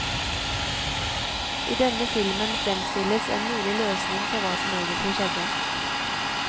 I denne filmen fremstilles en mulig løsning på hva som egentlig skjedde.